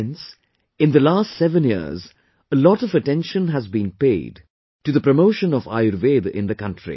Friends, in the last seven years a lot of attention has been paid to the promotion of Ayurveda in the country